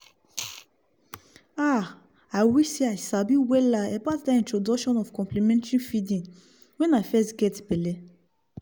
ahi wish sey i sabi wella about that introduction of complementary feeding when i fess geh belle